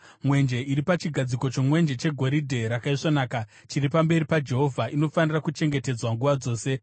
Mwenje iri pachigadziko chomwenje chegoridhe rakaisvonaka chiri pamberi paJehovha inofanira kuchengetedzwa nguva dzose.